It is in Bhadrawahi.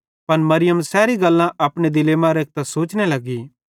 पन मरियम सैरी गल्लां अपने दिले मां रेखतां सोचने लगी